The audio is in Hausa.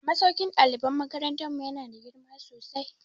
Masaukin ɗaliban makarantar mu ya na da girma sosai